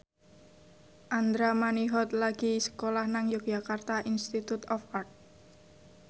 Andra Manihot lagi sekolah nang Yogyakarta Institute of Art